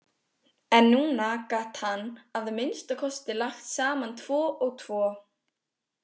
En núna gat hann að minnsta kosti lagt saman tvo og tvo.